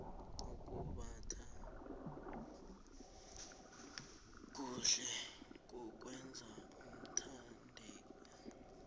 ukumbatha kuhle kukwenza uthandeke